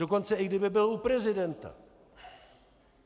Dokonce i kdyby byl u prezidenta.